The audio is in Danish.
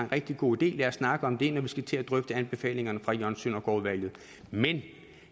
rigtig god idé lad os snakke om det når vi skal til at drøfte anbefalingerne fra jørgen søndergaard udvalget men